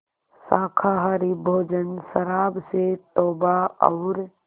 शाकाहारी भोजन शराब से तौबा और